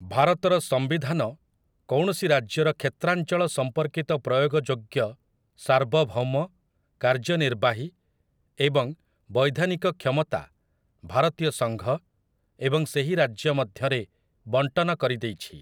ଭାରତର ସମ୍ବିଧାନ କୌଣସି ରାଜ୍ୟର କ୍ଷେତ୍ରାଞ୍ଚଳ ସମ୍ପର୍କିତ ପ୍ରୟୋଗଯୋଗ୍ୟ ସାର୍ବଭୌମ କାର୍ଯ୍ୟନିର୍ବାହୀ ଏବଂ ବୈଧାନିକ କ୍ଷମତା ଭାରତୀୟ ସଂଘ ଏବଂ ସେହି ରାଜ୍ୟ ମଧ୍ୟରେ ବଣ୍ଟନ କରିଦେଇଛି ।